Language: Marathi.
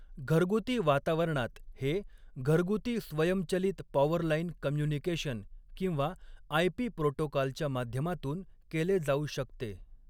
घरगुती वातावरणात हे, घरगुती स्वयंचलित पॉवरलाइन कम्युनिकेशन किंवा आयपी प्रोटोकॉलच्या माध्यमातून केले जाऊ शकते.